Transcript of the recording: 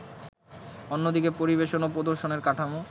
অন্যদিকে পরিবেশন ও প্রদর্শনের কাঠামো